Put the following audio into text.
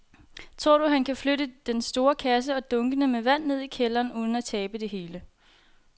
Tror du, at han kan flytte den store kasse og dunkene med vand ned i kælderen uden at tabe det hele?